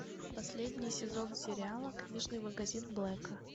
последний сезон сериала книжный магазин блэка